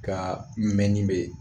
Ka mɛnni bɛ